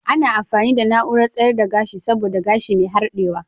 Ana amfani da na'urar tsayar da gashi saboda gashi mai harɗewa.